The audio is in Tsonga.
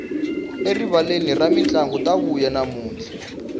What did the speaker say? erivaleni ra mintlangu ta vuya namuntlha